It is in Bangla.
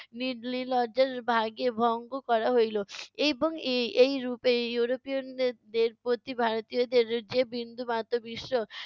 ভাগে ভঙ্গ করা হইলো, এবং এ~ এই রুপে ইউরোপিয়নদের প্রতি ভারতীয়দের যে বিন্দুমাত্র বিশ্বাস